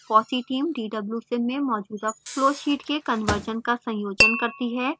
fossee team dwsim में मौजूदा flow sheets के कन्वर्शन का संयोजन करती है